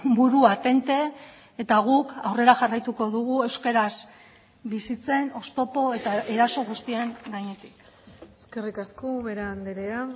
burua tente eta guk aurrera jarraituko dugu euskaraz bizitzen oztopo eta eraso guztien gainetik eskerrik asko ubera andrea